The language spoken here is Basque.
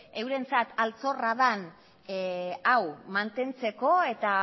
eurentzat altxorra den hau mantentzeko eta